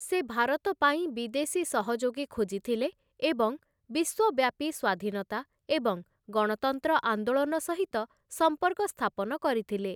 ସେ, ଭାରତ ପାଇଁ ବିଦେଶୀ ସହଯୋଗୀ ଖୋଜିଥିଲେ ଏବଂ ବିଶ୍ୱବ୍ୟାପୀ ସ୍ୱାଧୀନତା ଏବଂ ଗଣତନ୍ତ୍ର ଆନ୍ଦୋଳନ ସହିତ ସମ୍ପର୍କ ସ୍ଥାପନ କରିଥିଲେ ।